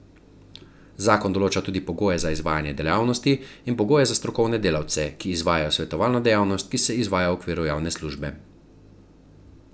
Zakon določa tudi pogoje za izvajalce dejavnosti in pogoje za strokovne delavce, ki izvajajo svetovalno dejavnost, ki se izvaja v okviru javne službe.